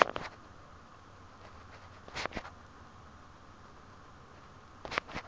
a ka nna a se